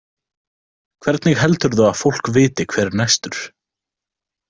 Hvernig heldurðu að fólk viti hver er næstur?